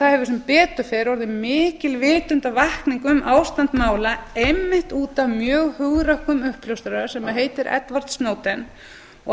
það hefur sem betur fer orðið mikil vitundarvakning um ástand mála einmitt út af mjög hugrökkum uppljóstrara sem heitir edward snowden og